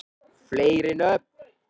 fleiri nöfn